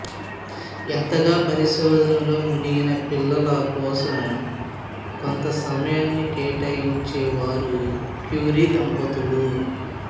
ఎంతగా పరిశోధనలో మునిగినా పిల్లల కోసం కొంత సమయాన్ని కేటాయించేవారు క్యూరీ దంపతులు